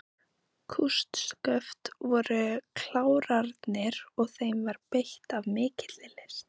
Kústsköft voru klárarnir og þeim var beitt af mikilli list.